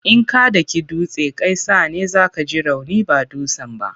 In ka daki dutse, kai sa ne za ka ji rauni ba dutsen ba.